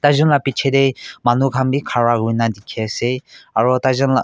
taijen laa piche te manukhan bi khara kuri na dikhi ase aru taijen laa.